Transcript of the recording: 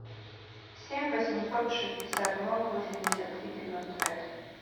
семь восемьсот шестьдесят ноль восемьдесят три девяносто пять